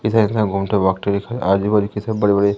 पीछे इंसान घुमता आजू-बाजू के सब बड़े-बड़े --